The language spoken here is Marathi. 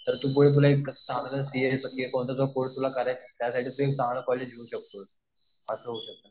तर तू चांगला कॉलेज मिळू शकतो